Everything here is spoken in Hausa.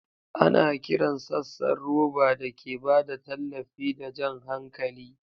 Ana kiran sassan roba da ke ba da tallafi da jan hankali.